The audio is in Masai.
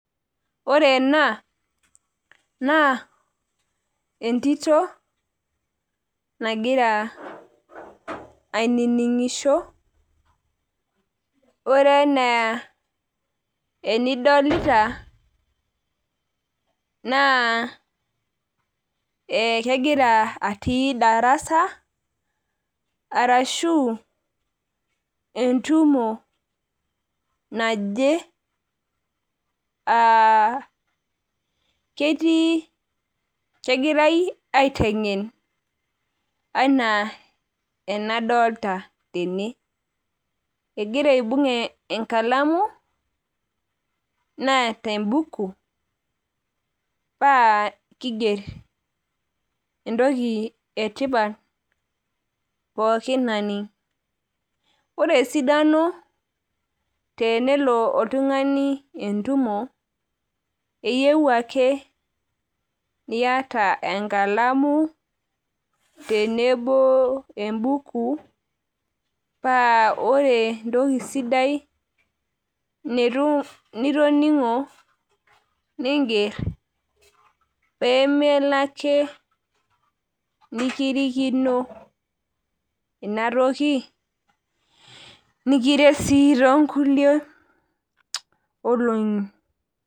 Ore ena naa entito nagira ainingisho. Ore enaa enidolita naa kegira atii darasa arashu entumo naje. Kegirae aitengen enaa enadolta tene , egira aibung enkalamu , neeta embuku paa kiger entoki pooki toki etipat naning . Ore esidano teniata oltungani entumo eyieu ake niata oltungani enkalamu tenebo embuku paa ore entoki sidai nitoningo ninger pemilo ake nikirikino inatoki nimikirikino ake toonkulie olongi.